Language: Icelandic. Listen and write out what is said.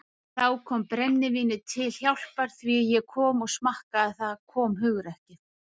Þá kom brennivínið til hjálpar því þegar ég smakkaði það kom hugrekkið.